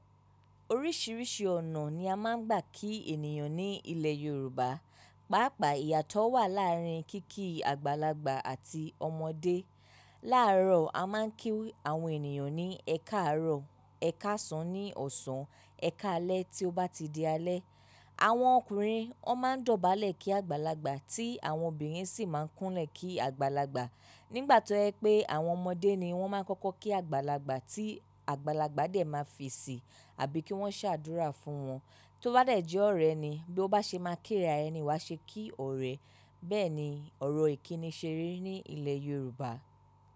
Oríṣìíríṣìí ọ̀nà ni a máa ń gbà kí ènìyàn ní ilẹ̀ Yorùbá. Pàápàá ìyàtọ̀ wà láàárín kíki àgbàlagbà àti ọmọdé. Láàárọ̀ a máa ń kí àwọn ènìyàn ní "ẹ káàárọ̀", "ẹ káàsán" ní ọ̀sán, "ẹ káalẹ́" tí ó bá ti di alẹ́. Àwọn ọkùnrin ó máa ń dọ̀bálẹ̀ kí àgbàlagbà tí àwọn obìnrin sì máa ń kúnlẹ̀ kí àgbàlagbà. Nígbà tó ẹ pé àwọn ọmọdé ni wọ́n máa ń kọ́kọ́ kí àgbàlagbà tí àgbàlagbà dè máa fi síi àbí kí wọ́n ṣàdúrà fún wọn. Tó bá dẹ̀ jẹ́ ọ̀rẹ́ ni bí ó bá ṣe máa kíra ẹni ìwá ṣe kí ọ̀rẹ́. Bẹ́ẹ̀ ni ọ̀rọ̀ ìkíni ṣeré ní ilẹ̀ Yorùbá.